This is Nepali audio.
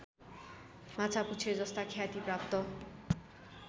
माछापुच्छ्रेजस्ता ख्याति प्राप्त